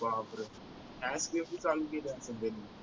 बापरे चालू केली असेल त्यांनी